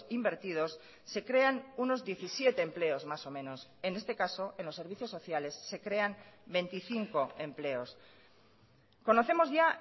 invertidos se crean unos diecisiete empleos más o menos en este caso en los servicios sociales se crean veinticinco empleos conocemos ya